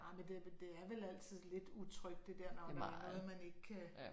Ah men det det er vel altid lidt utrygt det der når det er noget man ikke kan